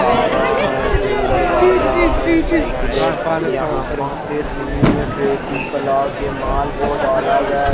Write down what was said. कारा है टूविलर गाड़िया है साइकिले यहा पे सिमेट रेती कला के माल को डाला गया।